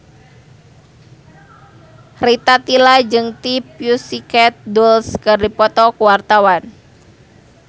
Rita Tila jeung The Pussycat Dolls keur dipoto ku wartawan